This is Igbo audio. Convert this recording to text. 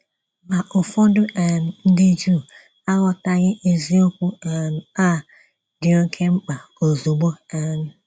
Ma, ụfọdụ um ndị Juu aghọtaghị eziokwu um a dị oké mkpa ozugbo um.